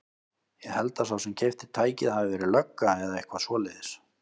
Ég held að sá sem keypti tækið hafi verið lögga eða eitthvað svoleiðis.